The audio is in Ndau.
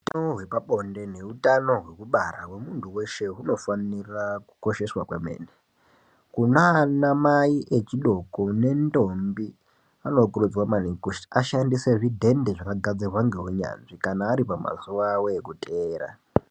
Hutano hwepabonde neutano hwekubara hwemuntu weshe hunofanira kukosheswa kwemene. Kuna anamai echidoko nentombi anokurudzirwa maningi kuti aashandise zvidhende zvakagadzirwa ngeunyanzvi kana ari pamazuwa awo ekuteera.